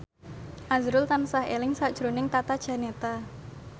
azrul tansah eling sakjroning Tata Janeta